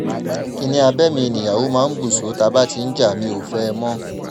kinni abẹ́ mi níyàwó máa ń bù sọ tá a bá ti ń jà mi ò fẹ́ ẹ mọ́